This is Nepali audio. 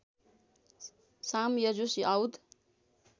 साम यजुस् औद